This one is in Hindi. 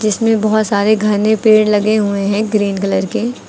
जिसमें बहुत सारे घने पेड़ लगे हुए हैं ग्रीन कलर के।